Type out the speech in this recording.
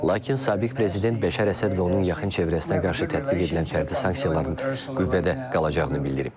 Lakin sabiq prezident Bəşər Əsəd və onun yaxın çevrəsinə qarşı tətbiq edilən fərdi sanksiyaların qüvvədə qalacağını bildirib.